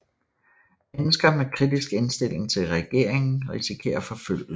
Mennesker med kritisk indstilling til regeringen risikerer forfølgelse